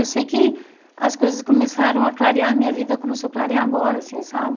Eu sei que as coisas começaram a clarear, minha vida começou a clarear agora assim, sabe?